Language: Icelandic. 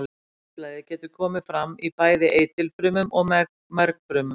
Hvítblæði getur komið fram í bæði eitilfrumum og mergfrumum.